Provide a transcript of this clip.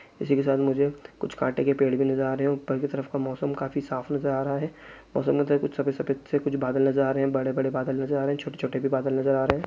इसी के साथ मुझे कुछ कांटे के पेड़ भी नज़र आ रहे है ऊपर की तरफ का मौसम काफी साफ़ नज़र आ रहा है और सामने की तरफ कुछ सफ़ेद सफेद से कुछ बादल नज़र आ रहे है बड़े-बड़े बादल नज़र आ रहे है छोटे-छोटे भी बादल नज़र आ रहे है।